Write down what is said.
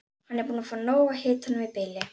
Hann er búinn að fá nóg af hitanum í bili.